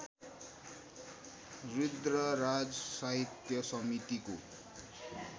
रुद्रराज साहित्य समितिको